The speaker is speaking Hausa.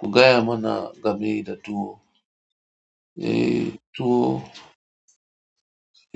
Ku gaya mana game da tuwo, eh tuwo